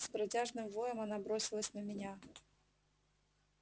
с протяжным воем она бросилась на меня